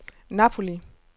Napoli